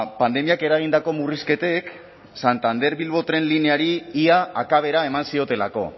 pandemiak eragindako murrizketek santander bilbo tren lineari ia akabera eman ziotelako